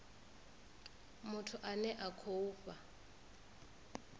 muthu ane a khou fha